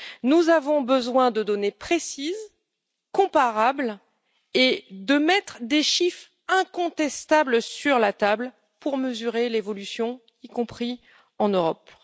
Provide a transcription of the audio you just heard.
Nous avons besoin de données précises, comparables, et de mettre des chiffres incontestables sur la table pour mesurer l'évolution de ce phénomène, y compris en Europe.